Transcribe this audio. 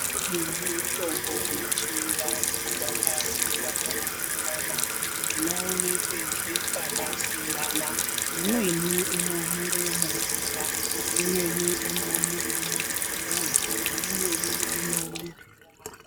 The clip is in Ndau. Nemitombo yechivantu yakasiyana siyana inoonekwe zve pakasiyana siyana. Imweni inomere mumvura ,imweni mumapuwe imweni inomere mumakomo .